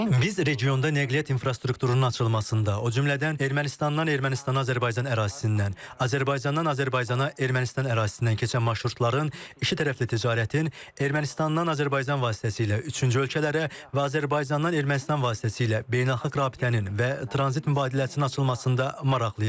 Biz regionda nəqliyyat infrastrukturunun açılmasında, o cümlədən Ermənistandan Ermənistana Azərbaycan ərazisindən, Azərbaycandan Azərbaycana, Ermənistan ərazisindən keçən marşrutların, ikitərəfli ticarətin, Ermənistandan Azərbaycan vasitəsilə üçüncü ölkələrə və Azərbaycandan Ermənistan vasitəsilə beynəlxalq rabitənin və tranzit mübadiləsinin açılmasında maraqlıyıq.